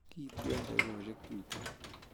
Kiitu en takigoshek tuten